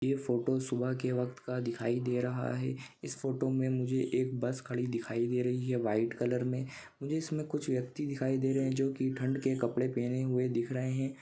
ये फोटो सुबह के वक्त का दिखाई दे रहा है। इस फोटो मे मुझे एक बस खड़ी दिखाई दे रही है व्हाइट कलर मे। मुझे इसमे कुछ व्यक्ति दिखाई दे रहे जो की ठंड के कपड़े पहने हुए दिख रहे है।